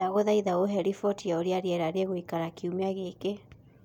ndagũthaĩtha uhe riboti ya uria rĩera rĩgũĩkara kĩumĩa giki